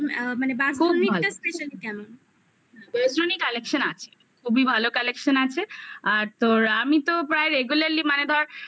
collection আছে. খুবই ভালো collection আছে. আর তোর আমি তো প্রায় regular মানে ধর